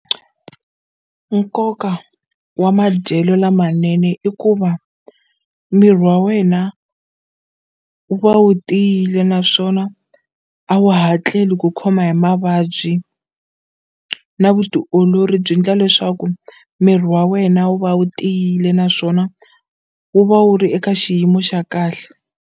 Nkoka wa madyelo lamanene i ku va miri wa wena wu va wu tiyile naswona a wu hatleli ku khoma hi mavabyi na vutiolori byi ndla leswaku miri wa wena wu va wu tiyile naswona wu va wu ri eka xiyimo xa kahle.